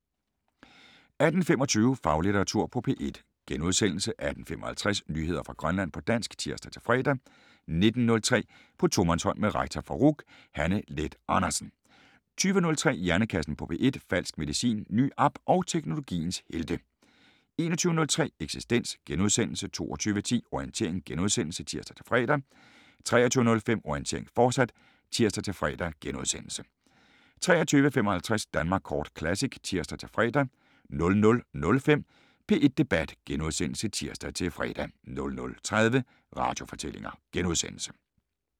18:25: Faglitteratur på P1 * 18:55: Nyheder fra Grønland på dansk (tir-fre) 19:03: På tomandshånd med rektor for RUC Hanne Leth Andersen 20:03: Hjernekassen på P1: Falsk medicin, ny app og teknologiens helte 21:03: Eksistens * 22:10: Orientering *(tir-fre) 23:05: Orientering, fortsat (tir-fre) 23:55: Danmark Kort Classic (tir-fre) 00:05: P1 Debat *(tir-fre) 00:30: Radiofortællinger *